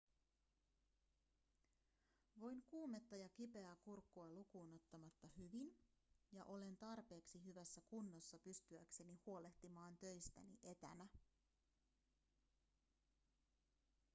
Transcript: voin kuumetta ja kipeää kurkkua lukuun ottamatta hyvin ja olen tarpeeksi hyvässä kunnossa pystyäkseni huolehtimaan töistäni etänä